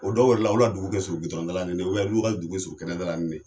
O dɔw yɛrɛ la, ol u ka dugu kɛ surun gitɔrɔnda la ni ne ye, olu ka dugu kɛ surun kɛnɛda la ni ne ye.